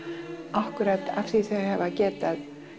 akkúrat af því þau hafa getað